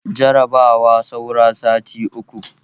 Jarabawa saura sati uku